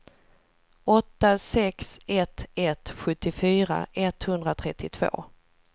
åtta sex ett ett sjuttiofyra etthundratrettiotvå